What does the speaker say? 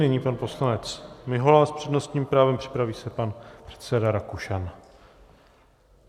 Nyní pan poslanec Mihola s přednostním právem, připraví se pan předseda Rakušan.